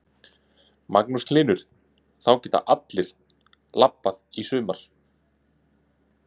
Magnús Hlynur: Þá geta allir lappað í sumar?